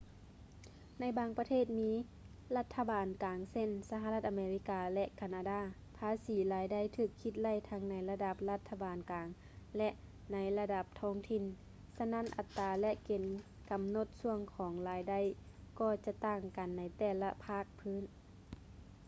ໃນບາງປະເທດທີ່ມີລັດຖະບານກາງເຊັ່ນ ສະຫະລັດອາເມລິກາ ແລະ ການາດາ ພາສີລາຍໄດ້ຖືກຄິດໄລ່ທັງໃນລະດັບລັດຖະບານກາງ ແລະ ໃນລະດັບທ້ອງຖິ່ນ ສະນັ້ນອັດຕາ ແລະ ເກນກຳນົດຊ່ວງຂອງລາຍໄດ້ກໍຈະຕ່າງກັນໃນແຕ່ລະພາກພື້ນ